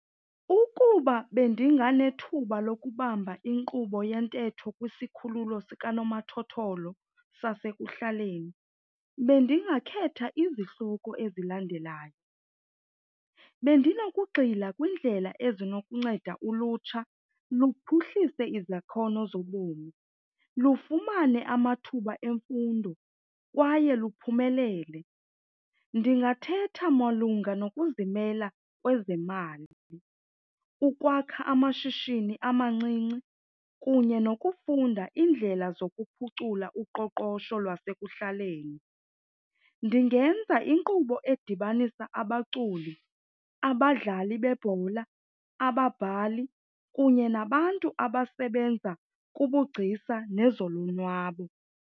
Ukuba bendinganethuba lokubamba inkqubo yentetho kwisikhululo zikanomathotholo sasekuhlaleni bendingakhetha izihloko ezilandelayo. Bendinokugxila kwindlela ezinokunceda ulutsha luphuhlise izakhono zobomi, lufumane amathuba emfundo kwaye luphumelele. Ndingathetha malunga nokuzimela kwezemali, ukwakha amashishini amancinci kunye nokufunda iindlela zokuphucula uqoqosho lwasekuhlaleni. Ndingenza inkqubo edibanisa abaculi, abadlali bebhola, ababhali kunye nabantu abasebenza kubugcisa nezolonwabo.